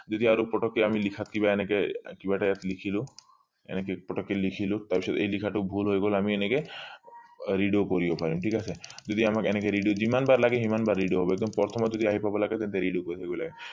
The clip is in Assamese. যদি আৰু পতকে আমি লিখাত কিবা এনেকে কিবা এটা ইয়াত লিখিলো এনেকে পতকে ইয়াত লিখিলো এই লিখাটো ভুল হৈ গল আমি এনেকে redo কৰিব পাৰিম ঠিক আছে যদি আমাক এনেকে redo যিমান বাৰ লাগে সিমান বাৰ একদম প্ৰথমত যদি আহি পাব লাগে তেন্তে redo কৰি থব লাগে